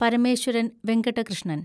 Parameswaran Venkata Krishnan